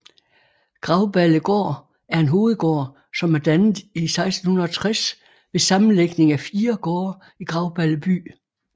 Grauballegård er en hovedgård som er dannet i 1660 ved sammenlægning af 4 gårde i Grauballe By